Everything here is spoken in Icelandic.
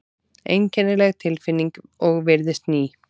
Einkennileg tilfinning og virðist ný.